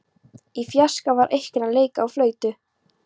Í fjarska var einhver að leika á flautu.